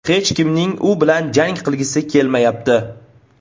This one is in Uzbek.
Hech kimning u bilan jang qilgisi kelmayapti.